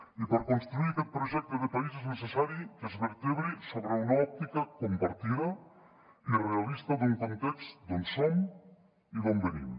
i per construir aquest projecte de país és necessari que es vertebri sobre una òptica compartida i realista d’un context d’on som i d’on venim